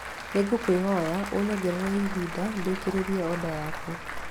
Nĩ ngũkũhoya ũnyongerere ihinda ndĩkĩrĩrie oda yaku